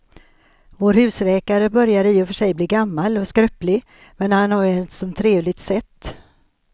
Vår husläkare börjar i och för sig bli gammal och skröplig, men han har ju ett sådant trevligt sätt!